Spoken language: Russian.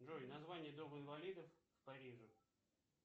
джой название дома инвалидов в париже